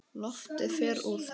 Loftið fer úr þeim.